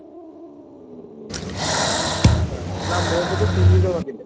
ଆଚ୍ଛା ନାଁ ମୋ ସହିତ ତିନି ଜଣ ଥିଲେ